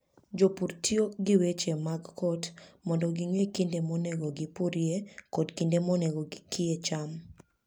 Jopur tiyo gi weche mag kot mondo ging'e kinde monego gipurie kod kinde monego gikie cham.